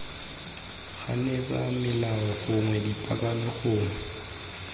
ganetsa melao gongwe dipaakanyo gongwe